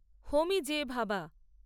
হোমি J ভাবা